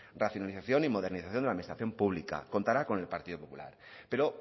racionalización y modernización de la administración pública contará con el partido popular pero